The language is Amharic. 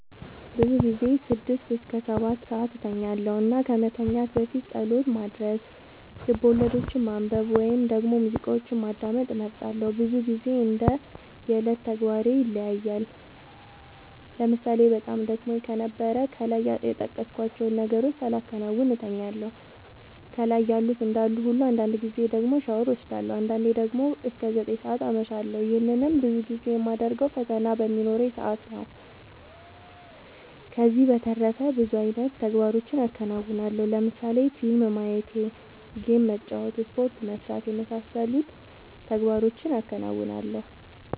ብዙ ጊዜ ስድስት እስከ ሰባትሰዓት እተኛለሁ እና ከመተኛት በፊት ፀሎት ማድረስ፣ ልቦለዶችን ማንበብ ወይም ደግሞ ሙዚቃዎችን ማዳመጥ እመርጣለሁ። ብዙ ግዜ እንደ የዕለት ተግባሬ ይለያያል ለምሳሌ በጣም ደክሞኝ ከነበረ ከላይ የጠቀስኳቸውን ነገሮች ሳላከናውን እተኛለሁ ከላይ ያሉት እንዳሉ ሁሉ አንዳንድ ጊዜ ደግሞ ሻወር ወስዳለሁ። አንዳንዴ ደግሞ እስከ ዘጠኝ ሰዓት አመሻለሁ ይህንንም ብዙ ጊዜ የማደርገው ፈተና በሚኖረኝ ሰአት ነው። ከዚህ በተረፈ ብዙ አይነት ተግባሮችን አከናወናለሁ ለምሳሌ ፊልም ማየት ጌም መጫወት ስፖርት መስራት የመሳሰሉት ተግባሮቹን አከናውናለሁ።